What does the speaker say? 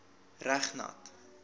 reg nat